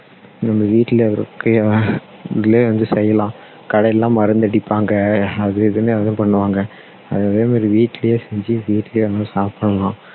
நம்ம வீட்டுல இருக்கிற இதுலயே வந்து செய்யலாம் கடையில எல்லாம் மருந்து அடிப்பாங்க அது இதுன்னு ஏதும் பண்ணுவாங்க அதனால வீட்டுலயே செஞ்சு வீட்டுலயே இருந்து சாப்பிடலாம்